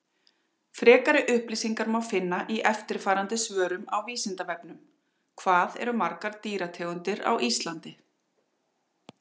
Frekari upplýsingar má finna í eftirfarandi svörum á Vísindavefnum: Hvað eru margar dýrategundir á Íslandi?